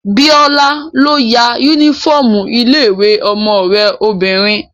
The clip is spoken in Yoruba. Bíọ́lá ló ya yúnífọ́ọ̀mù ilé-ìwé ọmọ rẹ obìnrin